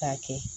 K'a kɛ